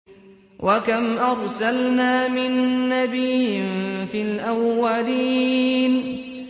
وَكَمْ أَرْسَلْنَا مِن نَّبِيٍّ فِي الْأَوَّلِينَ